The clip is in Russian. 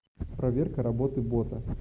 проверка работы бота